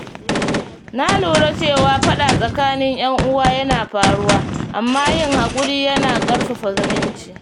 Na lura cewa faɗa tsakanin ‘yan uwa yana faruwa, amma yin haƙuri yana ƙarfafa zumunci.